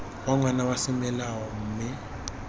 wa ngwana wa semolao mme